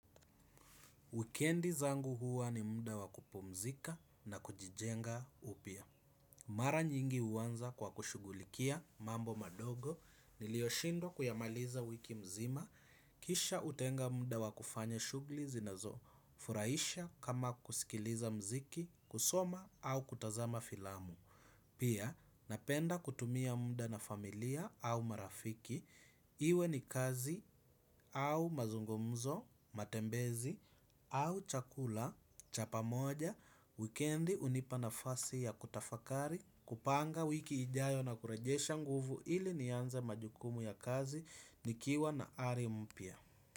Wikendi zangu huwa ni muda wakupumzika na kujijenga upya. Mara nyingi uanza kwa kushughulikia mambo madogo niliyoshindwa kuyamaliza wiki mzima. Kisha utenga muda wakufanya shugli zinazo furahisha kama kusikiliza mziki, kusoma au kutazama filamu. Pia, napenda kutumia muda na familia au marafiki, iwe ni kazi au mazungumzo, matembezi au chakula, chapa moja, wikendi hunipa nafasi ya kutafakari, kupanga wiki ijayo na kurejesha nguvu ili nianze majukumu ya kazi, nikiwa na ari mpya.